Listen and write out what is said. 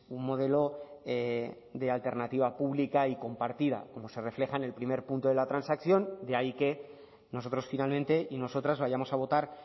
un modelo de alternativa pública y compartida como se refleja en el primer punto de la transacción de ahí que nosotros finalmente y nosotras vayamos a votar